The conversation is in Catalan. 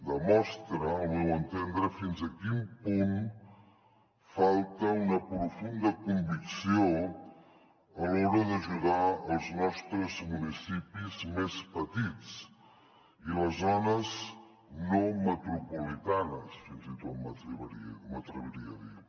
demostra al meu entendre fins a quin punt falta una profunda convicció a l’hora d’ajudar els nostres municipis més petits i les zones no metropolitanes fins i tot m’atreviria a dir